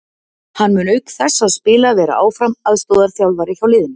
Hann mun auk þess að spila vera áfram aðstoðarþjálfari hjá liðinu.